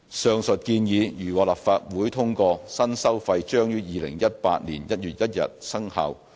上述建議如獲立法會通過，新收費將於2018年1月1日生效。